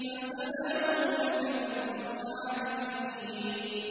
فَسَلَامٌ لَّكَ مِنْ أَصْحَابِ الْيَمِينِ